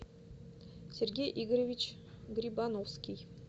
сергей игоревич грибановский